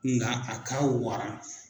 Nka a ka wara